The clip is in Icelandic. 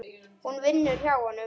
Hún vinnur hjá honum.